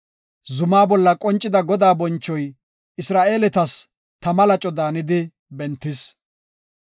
Zumaa bolla qoncida Godaa bonchoy Isra7eeletas tama laco daanidi bentis.